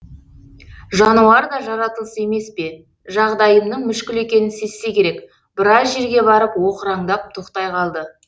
жануар да жаратылыс емес пе жағдайымның мүшкіл екенін сезсе керек біраз жерге барып оқыраңдап тоқтай қалды